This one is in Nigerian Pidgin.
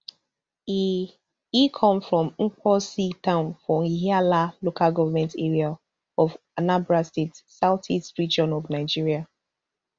e e come from mbosi town for ihiala local government area of anambra state south east region of nigeria